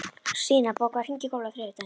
Stína, bókaðu hring í golf á þriðjudaginn.